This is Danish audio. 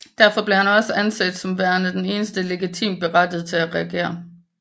Derfor blev han også anset som værende den eneste legitimt berettiget til at regere